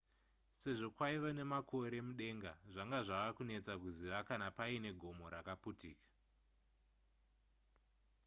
sezvo kwaiva nemakore mudenga zvanga zvava kunetsa kuziva kana paine gomo rakaputika